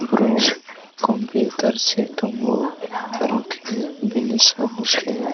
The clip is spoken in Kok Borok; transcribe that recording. borok computer setango aro khe bini samw khe.